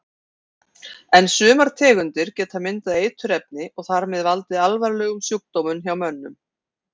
En sumar tegundir geta myndað eiturefni og þar með valdið alvarlegum sjúkdómum hjá mönnum.